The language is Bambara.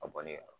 A bɔ ne yɛrɛ